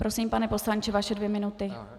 Prosím, pane poslanče, vaše dvě minuty.